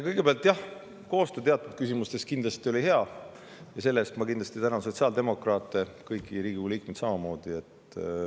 Kõigepealt, jah, koostöö teatud küsimustes kindlasti oli hea ja selle eest ma tänan sotsiaaldemokraate, kõiki Riigikogu liikmeid samamoodi.